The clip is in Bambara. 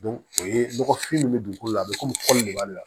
o ye nɔgɔfin min bɛ dugukolo la be komi kɔli de b'ale la